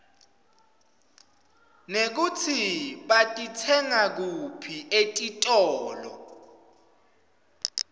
nekutsi batitsenga kuphi etitolo